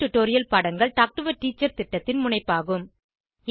spoken tutorial பாடங்கள் talk to a teacher திட்டத்தின் முனைப்பாகும்